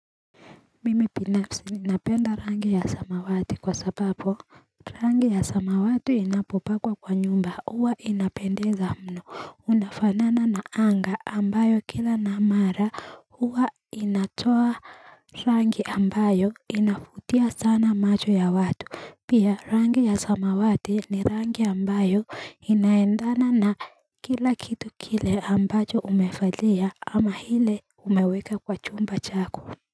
Mimipinapsi, napenda rangi ya samawati kwa sababu Rangi ya samawati inapopakwa kwa nyumba, huwa inapendeza mno Unafanana na anga ambayo kila namara huwa inatoa rangi ambayo inavutia sana macho ya watu Pia rangi ya samawati ni rangi ambayo inaendana na kila kitu kile ambacho umevalia ama hile umeweka kwa chumba chako.